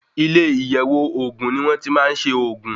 Ilé iyẹ̀wò ògùn ni wón ti máa ń ṣe ògùn.